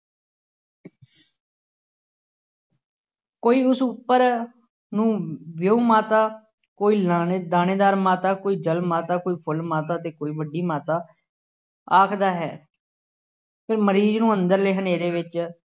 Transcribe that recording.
ਕੋਈ ਉਸ ਉੱਪਰ ਨੂੰ ਵਿਉਂ ਮਾਤਾ, ਕੋਈ ਲਾਣੇ ਦਾਣੇਦਾਰ ਮਾਤਾ, ਕੋਈ ਜਲ ਮਾਤਾ, ਕੋਈ ਫੁੱਲ ਮਾਤਾ ਅਤੇ ਕੋਈ ਵੱਡੀ ਮਾਤਾ ਆਖਦਾ ਹੈ। ਫਿਰ ਮਰੀਜ਼ ਨੂੰ ਅੰਦਰਲੇ ਹਨੇਰੇ ਵਿੱਚ